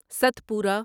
Satpura